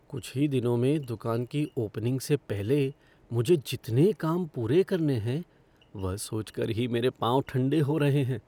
कुछ ही दिनों में दुकान की ओपनिंग से पहले मुझे जितने काम पूरे करने हैं, वह सोच कर ही मेरे पांव ठंडे हो रहे हैं।